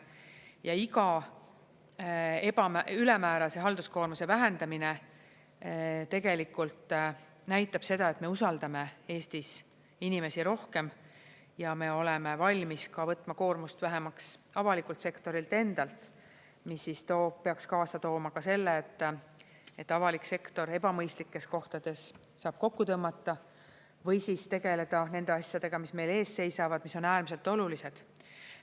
Ja iga ülemäärase halduskoormuse vähendamine tegelikult näitab seda, et me usaldame Eestis inimesi rohkem ja me oleme valmis ka võtma koormust vähemaks avalikult sektorilt endalt, mis siis peaks kaasa tooma selle, et avalik sektor ebamõistlikes kohtades saab kokku tõmmata või siis tegelda nende asjadega, mis meil ees seisavad, mis on äärmiselt olulised.